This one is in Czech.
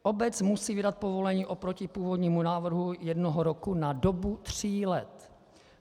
Obec musí vydat povolení oproti původnímu návrhu jednoho roku na dobu tří let.